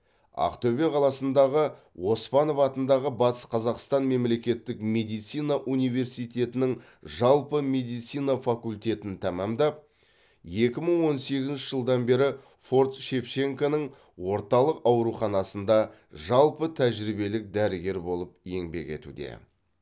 ақтөбе қаласындағы оспанов атындағы батыс қазақстан мемлекеттік медицина университетінің жалпы медицина факультетін тәмамдап екі мың он сегізінші жылдан бері форт шевченконың орталық ауруханасында жалпы тәжірибелік дәрігер болып еңбек етуде